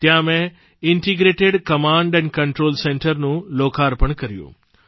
ત્યાં મેં integrated command control centre નું લોકાર્પણ કર્યું